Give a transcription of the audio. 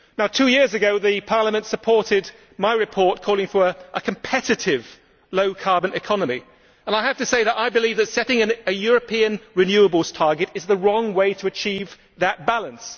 Two years ago, Parliament supported my report calling for a competitive low carbon economy, and I have to say that I believe that setting a European renewables target is the wrong way to achieve that balance.